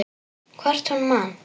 Hvort hún man!